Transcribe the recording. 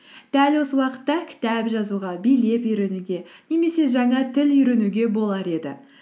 дәл осы уақытта кітап жазуға билеп үйренуге немесе жаңа тіл үйренуге болар еді